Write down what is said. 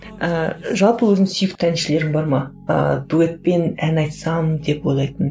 ііі жалпы өзіңнің сүйікті әншілерің бар ма ыыы дуэтпен ән айтсам деп ойлайтын